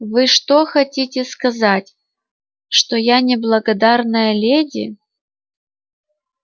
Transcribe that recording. вы что хотите сказать что я не благодарная леди